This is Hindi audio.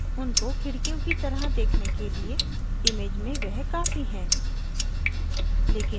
उनको खिड़कियों की तरह देखने के लिए image में वह काफ़ी हैं